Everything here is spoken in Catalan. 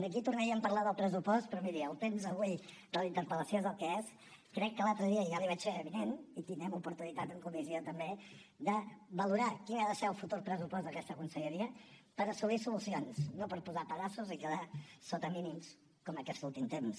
aquí tornaríem a parlar del pressupost però miri el temps avui de la interpel·lació és el que és crec que l’altre dia ja l’hi vaig fer avinent i tindrem oportunitat en comissió també de valorar quin ha de ser el futur pressupost d’aquesta conselleria per assolir solucions no per posar pedaços i quedar sota mínims com en aquest últim temps